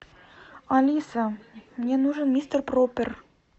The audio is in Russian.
алиса мне нужен мистер проппер